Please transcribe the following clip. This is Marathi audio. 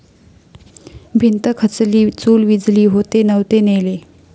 भिंत खचली, चूल विझली...होते नव्हते नेले'